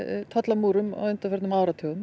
tollamúrum á undanförnum áratugum